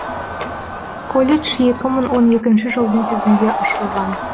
колледж екі мың он екінші жылдың күзінде ашылған